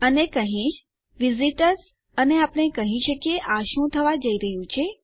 અને હું કહીશ વિઝિટર્સ અને આપણે કહી શકીએ આ શું થવા જઈ રહ્યું છે